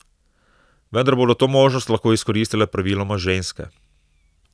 Vendar bodo to možnost lahko izkoristile praviloma ženske.